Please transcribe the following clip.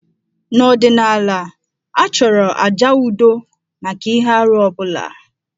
N'ọdịnala, a chọrọ àjà udo maka ihe arụ ọ bụla.